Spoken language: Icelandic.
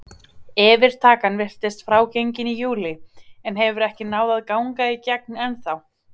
Yfirtakan virtist frágengin í júlí en hefur ekki náð að ganga í gegn ennþá.